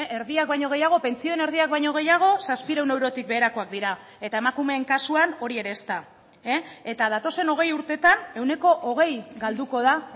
erdiak baino gehiago pentsioen erdiak baino gehiago zazpiehun eurotik beherakoak dira eta emakumeen kasuan hori ere ezta eta datozen hogei urtetan ehuneko hogei galduko da